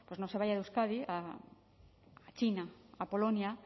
no se vaya a euskadi a china a polonia